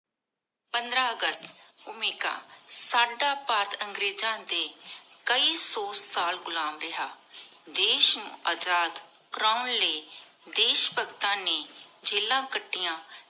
ਪੰਦ੍ਰ ਅਗਸਤ ਓਮਿਕਾ ਸਦਾ ਭਾਰਤ ਅੰਗ੍ਰੇਜ਼ਾਂ ਦੇ ਕਾਯੀ ਸੋ ਸਾਲ ਘੁਲਮ ਰਿਹਾ ਦੇਸ਼ ਅਜਾਦ ਕਰਨ ਲਾਏ ਦੇਸ਼ ਭਗਤਾਂ ਨੀ ਜਿਲਾਨ ਕਾਤਿਯਾਂ